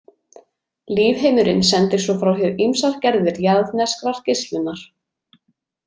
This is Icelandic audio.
Lífheimurinn sendir svo frá sér ýmsar gerðir jarðneskrar geislunar.